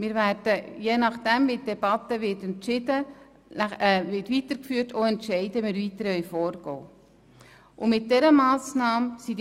Wir werden abhängig davon, wie die Debatte weiter verläuft, über das weitere Vorgehen entscheiden.